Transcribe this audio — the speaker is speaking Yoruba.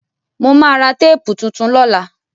Mo ma ra téèpù tuntun lọ́la